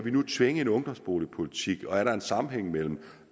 tvinge en ungdomsboligpolitik igennem og er der en sammenhæng mellem